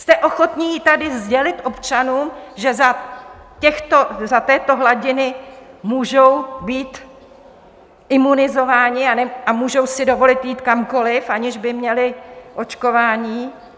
Jste ochotni tady sdělit občanům, že za této hladiny můžou být imunizováni a můžou si dovolit jít kamkoliv, aniž by měli očkování?